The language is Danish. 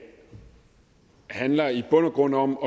handler i bund og grund om